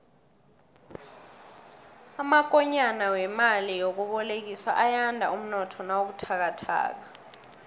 amakonyana wemali yokubolekiswa ayanda umnotho nawubuthakathaka